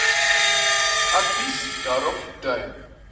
advies daarop dui